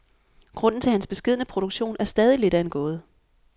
Grunden til hans beskedne produktion er stadig lidt af en gåde.